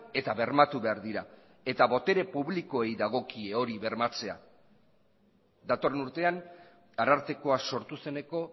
eta bermatu behar dira eta botere publikoei dagokie hori bermatzea datorren urtean arartekoa sortu zeneko